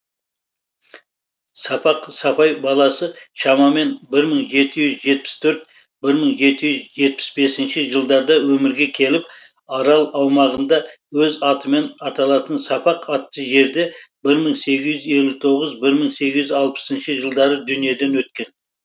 сапақ сапай баласы шамамен бір мың жеті жүз жетпіс төрт бір мың жеті жүз жетпіс бесінші жылдарда өмірге келіп арал аумағында өз атымен аталатын сапақ атты жерде бір мың сегіз жүз елу тоғыз бір мың сегіз жүз алпысыншы жылдары дүниеден өткен